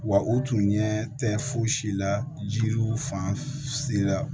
Wa u tun ɲɛ tɛ fosi la jiri fan se la